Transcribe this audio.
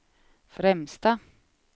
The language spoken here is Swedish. främsta